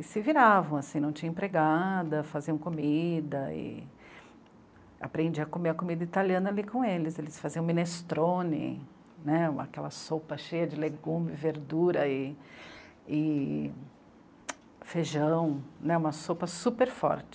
se viravam assim, não tinham empregada, faziam comida e aprendi a comer a comida italiana ali com eles, eles faziam minestrone né, aquela sopa cheia de legume, verdura e feijão, uma sopa super forte